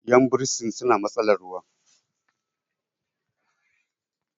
yan bursin suna matsalar ruwa